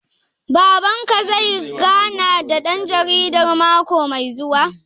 Baban ka zai gana da ɗan jaridar mako mai zuwa?